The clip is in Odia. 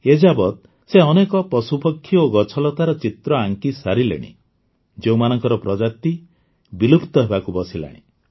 ଏଯାବତ୍ ସେ ଅନେକ ପଶୁପକ୍ଷୀ ଓ ଗଛଲତାର ଚିତ୍ର ଆଙ୍କିସାରିଲେଣି ଯେଉଁମାନଙ୍କ ପ୍ରଜାତି ବିଲୁପ୍ତ ହେବାକୁ ବସିଲାଣି